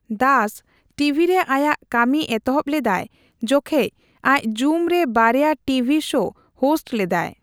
ᱫᱟᱥ ᱴᱤᱵᱷᱤᱨᱮ ᱟᱭᱟᱜ ᱠᱟᱢᱤ ᱮᱛᱚᱦᱚᱵ ᱞᱮᱫᱟᱭ ᱡᱚᱠᱷᱮᱡ ᱟᱡ ᱡᱩᱢ ᱨᱮ ᱵᱟᱨᱭᱟ ᱴᱤᱵᱷᱤ ᱥᱳ ᱦᱳᱥᱴ ᱞᱮᱫᱟᱭ ᱾